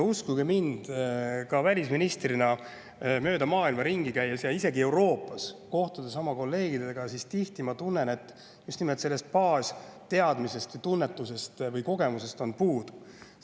Uskuge mind, välisministrina mööda maailma ringi käies ja isegi Euroopas oma kolleegidega kohtudes ma tihti tunnen, et just nimelt sellest baasteadmisest, tunnetusest või kogemusest on puudu.